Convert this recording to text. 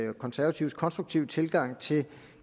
konservatives konstruktive tilgang til